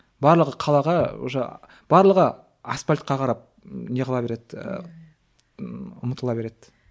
барлығы қалаға уже барлығы асфальтқа қарап не қыла береді ы ұмтыла береді